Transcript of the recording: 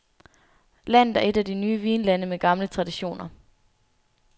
Landet er et af de nye vinlande med gamle traditioner.